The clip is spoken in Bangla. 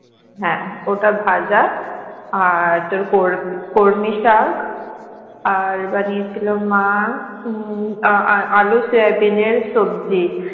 হ্যাঁ ওটা ভাজা আর তোর কর্মি শাক আর বানিয়েছিলো মা উম আলু সয়াবিন এর সবজি